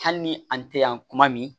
Hali ni an tɛ yan kuma min